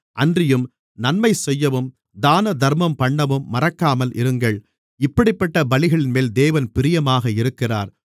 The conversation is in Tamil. அன்றியும் நன்மைசெய்யவும் தானதர்மம் பண்ணவும் மறக்காமல் இருங்கள் இப்படிப்பட்ட பலிகளின்மேல் தேவன் பிரியமாக இருக்கிறார்